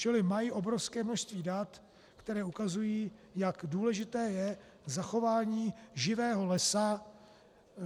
Čili mají obrovské množství dat, která ukazují, jak důležité je zachování živého lesa.